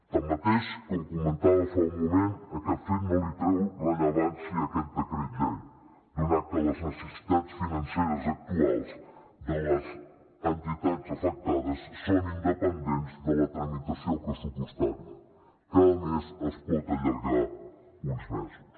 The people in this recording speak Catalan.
tanmateix com comentava fa un moment aquest fet no li treu rellevància a aquest decret llei donat que les necessitats financeres actuals de les entitats afectades són independents de la tramitació pressupostària que a més es pot allargar uns mesos